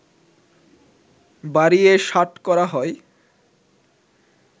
বাড়িয়ে ৬০ করা হয়